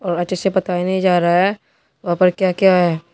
और अच्छे से बताया नहीं जा रहा है वहां पर क्या क्या है।